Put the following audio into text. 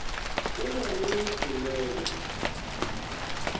o be o e hlolele